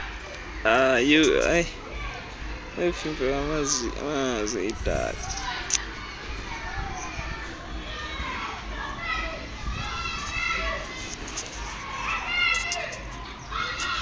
novimba wamazwi idac